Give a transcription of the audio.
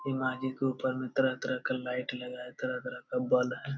अलमारी के ऊपर में तरह-तरह का लाइट लगा है तरह तरह का बल्ब है।